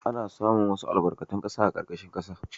Ana samun wasu albarkatun ƙasa a ƙarƙashin ƙasa.